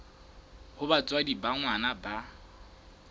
ha batswadi ba ngwana ba